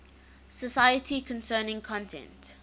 society concerning content